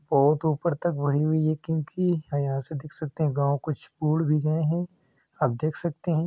बहुत ऊपर तक बड़ी हुई है क्योंकि यहां से देख सकते हैं गांव कुछ भी गए है आप देख सकते हैं।